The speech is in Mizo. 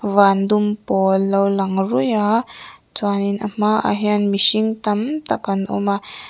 van dum pawl lo lang ruih a chuanin a hmaah hian mihring tam tak an awm a.